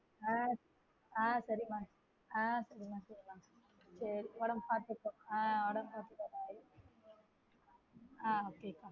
ஆஹ் சேரி மா ஆஹ் சேரி மா சேரி மா சேரி உடம்பு பாத்துக்கோ ஆஹ் உடம்பு பாத்துக்கோ bye ஆஹ் சேரி மா